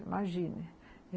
Imagine